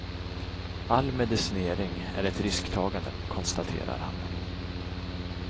All medicinering är ett risktagande, konstaterar han.